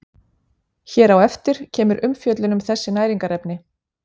Hér á eftir kemur umfjöllun um þessi næringarefni.